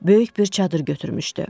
Böyük bir çadır götürmüşdü.